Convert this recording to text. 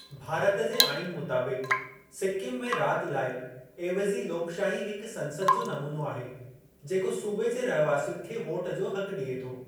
भारत जे आईन मुताबिक़, सिक्किम में राॼु लाइ एविज़ी लोकशाही हिक संसद जो नमूनो आहे जेको सूबे जे रहिवासियुनि खे वोट जो हक़ ॾिए थो।